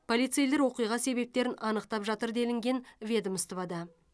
полицейлер оқиға себептерін анықтап жатыр делінген ведомствода